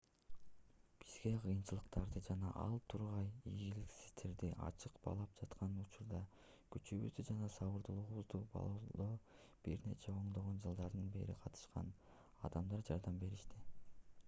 бизге кыйынчылыктарды жана ал тургай ийгиликсиздерди ачык баалап жаткан учурда күчүбүздү жана сабырдуулугубузду баалоодо бир нече ондогон жылдардан бери катышкан адамдар жардам беришти